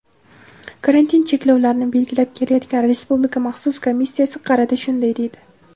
karantin cheklovlarini belgilab kelayotgan Respublika maxsus komissiyasi qarata shunday deydi:.